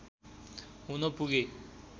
हुन पुगे